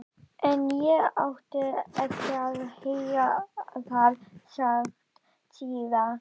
En ég átti eftir að heyra það sagt síðar.